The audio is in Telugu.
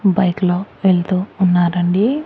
బైక్ లో వెళ్తూ ఉన్నారండి.